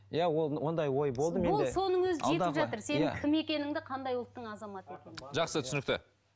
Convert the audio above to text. иә ол ондай ой болды менде сенің кім екеніңді қандай ұлттың азаматы екеніңді жақсы түсінікті